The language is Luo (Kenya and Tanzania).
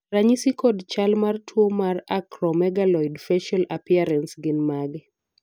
ranyisi kod chal mar tuo mar Acromegaloid facial appearance gin mage?